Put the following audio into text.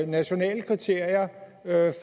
nationale kriterier